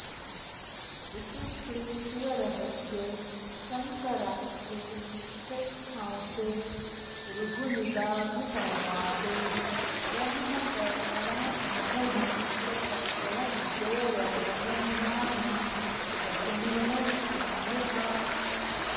इति श्रीशिवरहस्ये शङ्कराख्ये षष्ठांशे ऋभुनिदाघसंवादे ब्रह्मतर्पणात्महोमाख्य प्रकरणद्वयवर्णनं नाम दशमोऽध्यायः